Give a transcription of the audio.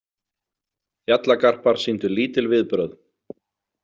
Fjallagarpar sýndu lítil viðbrögð.